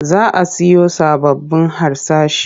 Za a siyo sababbun harsashi.